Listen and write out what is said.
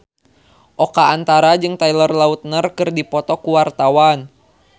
Oka Antara jeung Taylor Lautner keur dipoto ku wartawan